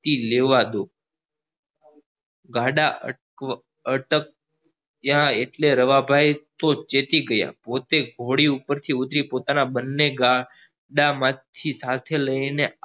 થી લેવા દો ગાળા અટક્યા એટલે રવા ભાઈ તો ચેતી ગયા પોતે ઘોડી ઉપ્પર થી ઉતરી પોતાના બંને ગાડા માંથી સાથે લઇ ને